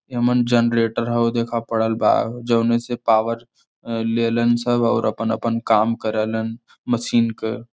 एमन जनलेटर हउ देख पड़ल बा जउने से पावर अ लेलन सब और अपन अपन काम करेलन मशीन क।